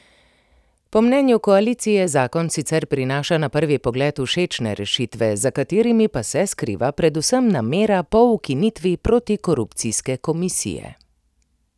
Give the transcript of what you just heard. Po mnenju koalicije zakon sicer prinaša na prvi pogled všečne rešitve, za katerimi pa se skriva predvsem namera po ukinitvi protikorupcijske komisije.